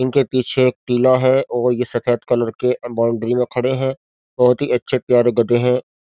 इनके पीछे एक टीला है और ये सफेद कलर के बाउंड्री में खड़े हैं बहुत ही अच्छे प्यारे गधे हैं।